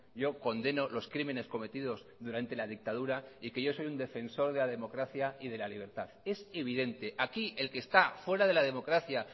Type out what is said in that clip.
yo condeno los crímenes cometidos durante la dictadura y que yo soy un defensor de la democracia y de la libertad es evidente aquí el que está fuera de la democracia